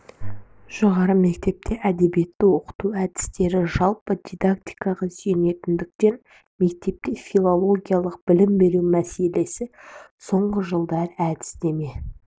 жоғары мектепте әдебиетті оқыту әдістемесі жалпы дидактикаға сүйенетіндіктен мектепте филологиялық білім беру мәселесі соңғы жылдары әдістеме